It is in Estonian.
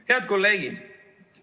Head kolleegid!